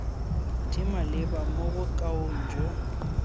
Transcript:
di maleba mo bokaong jo